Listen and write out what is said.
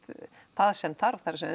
það sem þarf það er